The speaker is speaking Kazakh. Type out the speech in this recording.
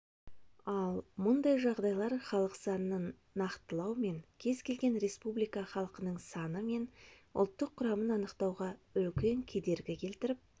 ал мұндай жағдайлар халық санын нақтылау мен кез-келген республика халқының саны мен ұлттық құрамын анықтауға үлкен кедергі келтіріп